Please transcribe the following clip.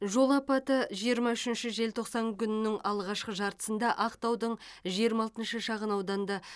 жол апаты жиырма үшінші желтоқсанда күннің алғашқы жартысында ақтаудың жиырма алтыншышы шағын ауданында